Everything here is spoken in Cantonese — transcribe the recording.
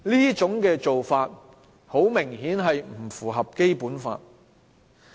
這種做法很明顯是不符合《基本法》的。